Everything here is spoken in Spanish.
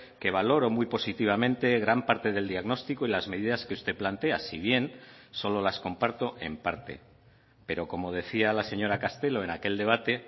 que valoro muy positivamente gran parte del diagnóstico y las medidas que usted plantea si bien solo las comparto en parte pero como decía la señora castelo en aquel debate